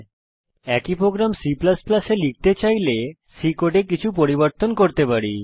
আমরা যদি একই প্রোগ্রাম C এ লিখতে চাই তাহলে উপরের C কোডে কিছু পরিবর্তন করতে পারি